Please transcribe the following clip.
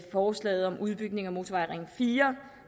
forslaget om udbygning af motorring fire